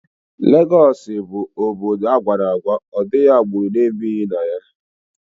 Legọọsị bụ obodo agwara ọgwa, ọdịghị agbụrụ ebighi na ya